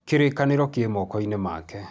Kirikaniro ki moko-ini make